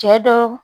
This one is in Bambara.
Cɛ dɔw